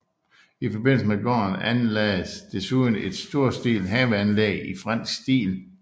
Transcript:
I forbindelse med gården anlagdes desuden et storstilet haveanlæg i fransk stil